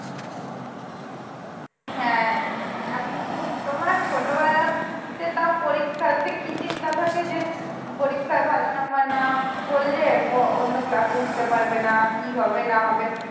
হ্যাঁ এখন তোমার ছোটবেলাতে তাও পরীক্ষাতে কি চিন্তা থাকে যে পরীক্ষায় ভালো number না করলে অন্য class এ উঠতে পারবে না কী হবে না হবে